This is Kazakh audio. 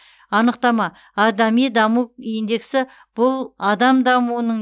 анықтама адами даму индексі бұл адам дамуының